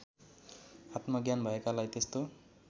आत्मज्ञान भएकालाई त्यस्तो